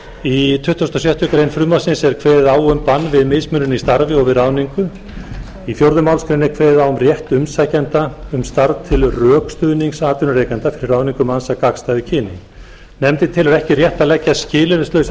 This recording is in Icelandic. í tuttugasta og sjöttu greinar frumvarpsins er kveðið á um bann við mismunun í starfi og við ráðningu í fjórðu málsgrein er kveðið á um rétt umsækjanda um starf til rökstuðnings atvinnurekanda fyrir ráðningu manns af gagnstæðu kyni nefndin telur ekki rétt að leggja skilyrðislausa